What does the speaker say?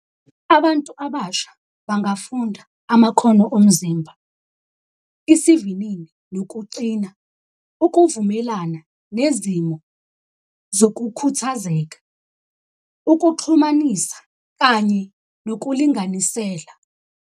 Abantu abasha bangafunda amakhono omzimba, isivinini nokucina, ukuvumelana nezimo zokukhuthazeka, ukuxhumanisa kanye nokulinganisela.